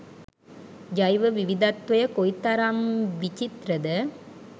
ජෛව විවිධත්වය කොයිතරම් විචිත්‍රද.